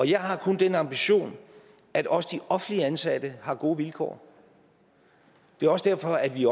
jeg har kun den ambition at også de offentligt ansatte har gode vilkår det er også derfor at vi